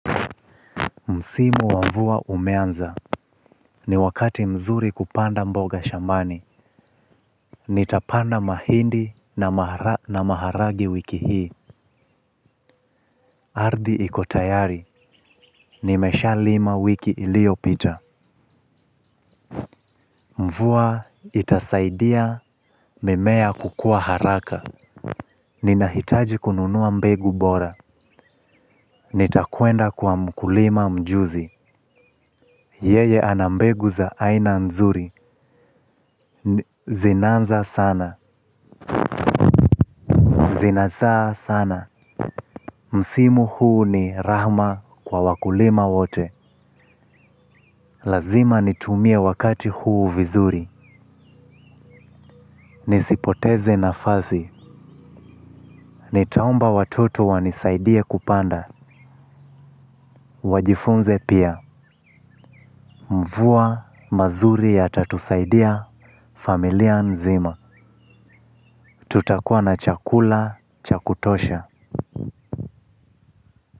Msimu wa mvua umeanza, ni wakati mzuri kupanda mboga shambani. Nitapanda mahindi na maharage wiki hii. Ardhi iko tayari nimeshalima wiki iliyopita. Mvua itasaidia, mimea kukua haraka. Ninahitaji kununua mbegu bora. Nitakwenda kwa mkulima mjuzi. Yeye ana mbegu za aina nzuri, zinanza sana. Zinazaa sana. Msimu huu ni rahma kwa wakulima wote. Lazima nitumie wakati huu vizuri. Nisipoteze nafasi. Nitaomba watoto wanisaidie kupanda. Wajifunze pia. Mvua mazuri yatatusaidia familia nzima. Tutakuwa na chakula cha kutosha.